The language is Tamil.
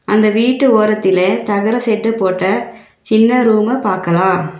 அந்த வீட்டு ஓரத்திலே தகர ஷெட்டு போட்ட சின்ன ரூம்ம பாக்கலா.